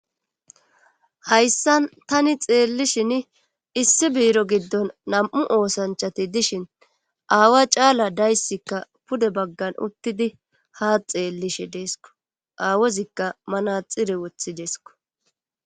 hayssan tani xeellishin issi biiro giddon nam7u oosanchati dishin aawa caala dayssikka pude baggan uttidi haa xeellishe deesko aawozikka manaxire wothideesko